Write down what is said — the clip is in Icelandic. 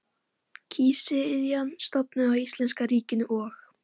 Nei, Sigurður vísaði á bug siðferðilegri afstæðiskenningu.